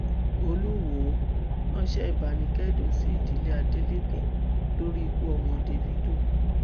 olùwòo ránṣẹ ìbánikẹdùn sí ìdílé adeleke lórí ikú ọmọ davido